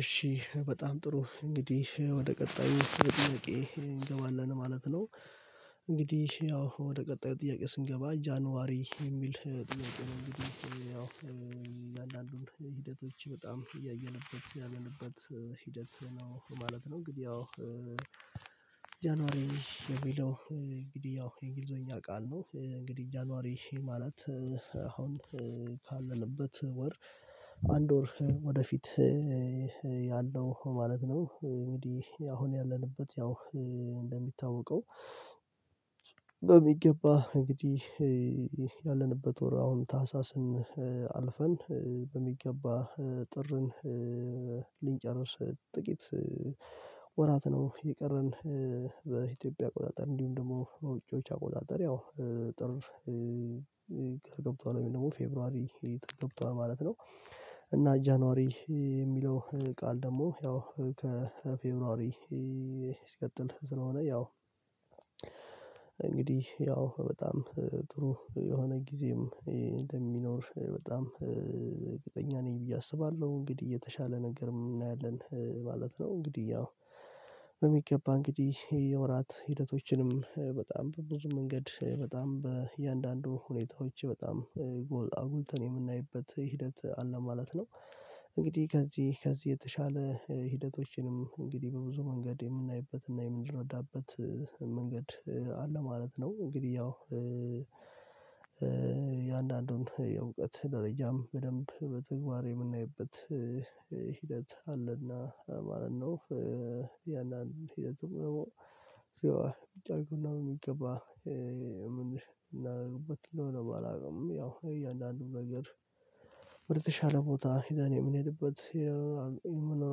እሺ በጣም ጥሩ እንግዲህ ወደ ቀጣዩ ጥያቄ እንገባለን ማለት ነው። እንግዲህ ያው ወደ ቀጣዩ ጥያቄ ስንገባ ጃንዋሪ የሚል ጥያቄ ነው። እንግዲህ እያንዳንዱን ሂደቶች በጣም እያየንበት ያለንበት ሂደት ነው ማለት ነው። እንግዲህ ያው ጃንዋሪ የሚለው እንግዲህ ያው የእንግሊዘኛ ቃል ነው። እንግዲህ ጃንዋሪ ማለት አሁን ካለንበት ወር አንድ ወር ወደፊት ያለው ማለት ነው። እንግዲህ አሁን ያለንበት ያው እንደሚታወቀው በሚገባ እንግዲህ ያለንበት ወር አሁን ታህሳስን አልፈን በሚገባ ጥርን ልንጨርስ ጥቂት ወራት ነው። የቀረን በኢትዮጵያ አቆጣጨር እንዲሁም ደግሞ በውጪዎች አቆጣጠር ያው ጥር ገብቷል ወይም ደግሞ ፌብሩዋሪ ገብቷል ማለት ነው። እና ጃንዋሪ የሚለው ቃል ደግሞ ያው ከፌብሩዋሪ ሲቀጥል ስለሆነ ያው እንግዲህ ያው በጣም ጥሩ የሆነ ጊዜም እንደሚኖር በጣም እርግጠኛ ነኝ ብዬ አስባለሁ እንግዲህ የተሻለ ነገርም እናያለን ማለት ነው። እንግዲህ ያው በሚገባ እንግዲህ የወራት ሂደቶችንም በጣም በብዙ መንገድ በጣም በእያንዳንዱ ሁኔታዎች በጣም አጉልተን የምናይበት ሂደት አለ ማለት ነው። እንግዲህ ከዚህ ከዚህ የተሻለ ሂደቶችንም እንግዲህ በብዙ መንገድ የምናይበትና የምንረዳበት መንገድ አለ ማለት ነው። እንግዲህ ያው የአንዳንዱን የእውቀት ደረጃም በደንብ በትግባር የምናይበት ሂደት አለና ማለት ነው። ያንን ሂደቱን ደግሞ ጫጩና የሚገባ ምን እናደርግበት ነው? አላውቅም ያው እያንዳንዱን ነገር ወደተሻለ ቦታ ሄደን የምንሄድበት መኖር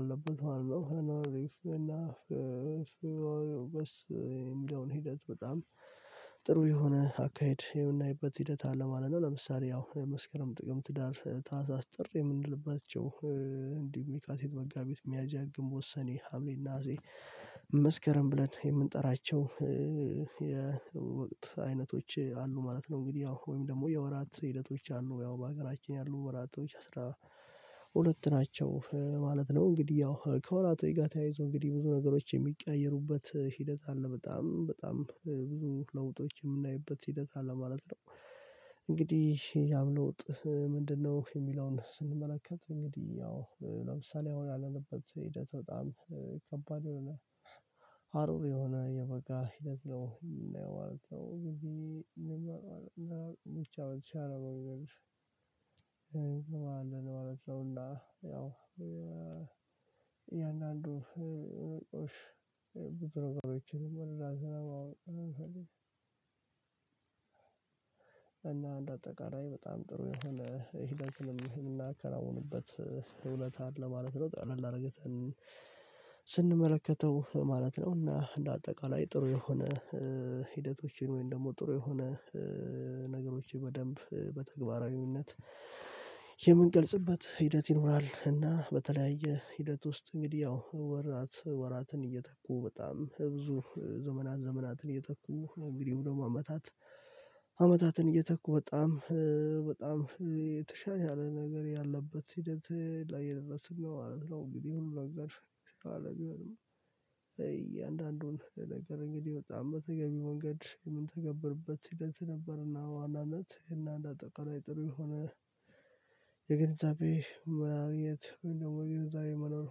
አለበት ማለት ነው። የሚለውን ሂደት በጣም ጥሩ የሆነ አካሄድ የምናይበት ሂደት አለ ማለት ነው። ለምሳሌ ያው መስከረም ጥቅምት ህዳር ታህሳስ ጥር የምንልባቸው እንዲሁም የካቲት መጋቢት ሚያዝያ ግምቦት ሰኔ ሀምሌ ነሀሴ መስከረም ብለን የምንጠራቸው የወቅት አይነቶች አሉ ማለት ነው። እንግዲህ ወይም ደግሞ የወራት ሂደቶች አሉ ያው በሀገራችን ያሉ ወራቶች አስራ ሁለት ናቸው ማለት ነው። እንግዲህ ያው ከወራቶች ጋር ተያይዞ እንግዲህ ብዙ ነገሮች የሚቀያየሩበት ሂደት አለ በጣም በጣም ብዙ ለውጦች የምናይበት ሲደግ አለ ማለት ነው። እንግዲህ ያም ለውጥ ምንድነው? የሚለውን ስንመለከት እንግዲህ ያው ለምሳሌ አሁን ያለንበት ሂደት በጣም ከባድ የሆነ ሀሩር የሆነ የበጋ ሂደት ነው የምናየው ማለት ነው። ግን ብቻ በተቻለ መንገድ ያው ያው የእያንዳንዱ ቁሽ ቡድኖችን መራዘም እና አንድ አጠቃላይ በጣም ጥሩ የሆነ እህል አንተንም እናከናውንበት ሁነት አለ ማለት ነው። ጠላላ አድርገን ስንመለከተው ማለት ነው እና እንደ አጠቃላይ ጥሩ የሆነ ሂደቶችን ወይም ደግሞ ጥሩ የሆነ ነገሮችን በደንብ በተግባራዊነት የምንገልጽበት ሂደት ይኖራል። እና በተለያየ ሂደት ውስጥ እንግዲህ ያው ወራት ወራትን እየተኩ በጣም ብዙ ዘመት ዘመናትን እየተኩ እንግዲህ ደግሞ አመታት አመታትን እየተኩ በጣም በጣም የተሻሻለ ነገር ያለበት ሂደት ላይ የደረሰበት ማለት ነው። እንግዲህ ሁሉ ነገር ሲባል ነገር እያንዳንዱን ነገር እንግዲህ ወጣ በተገቢ መንገድ ምንተገብርበት ሂደት ነበርና በዋናነት እና እንደ አጠቃላይ ጥሩ የሆነ የግንዛቤ ማግኘት ወይም ደግሞ የግንዛቤ መኖር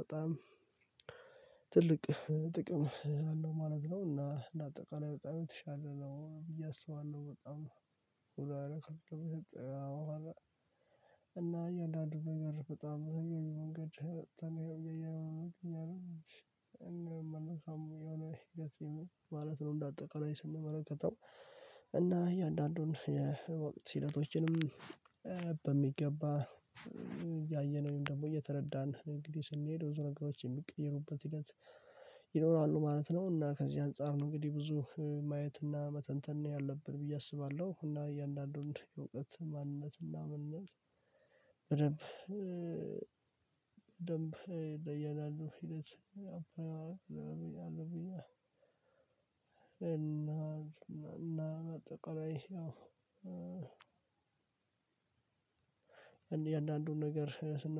በጣም ትልቅ ጥቅም አለው ማለት ነው። እና እና በጣም የተሻለ ነው ብዬ አስባለሁ። በጣም በጣም እና የአዳድሮ ነገር በጣም የመንገድ ተነየው የመንገድ ነገር ነው መልካም የሆነ ይገትልኝ ማለት ነው። እንደ አጠቃላይ ስንመለከተው እና እያንዳንዱን የወቅት ሂደቶችንም በሚገባ ያየነውን ደግሞ እየተረዳን እንግዲህ ስንሄድ ብዙ ነገሮች የሚቀይሩበት ሂደት ይኖራሉ ማለት ነው። እና ከዚህ አንፃር ነው እንግዲህ ብዙ ማየትና መተንተን ነው ያለብን ብዬ አስባለሁ። እና ያንዳንዱን የእውቀት ማንነትና መንነት ምንነት በደንብ በደንብ ለየናል ነው። ሂደት እና እና እና ተቀራይ ያው የእያንዳንዱን ነገር ስንመለከት